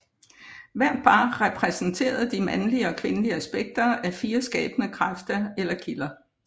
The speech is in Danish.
Hvert par repræsenterede de mandlige og kvindelige aspekter af fire skabende kræfter eller kilder